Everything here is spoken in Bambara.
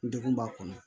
N degun b'a kɔnɔ